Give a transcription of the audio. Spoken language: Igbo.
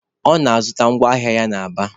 Ọ na-azụ ngwa ahịa na Aba.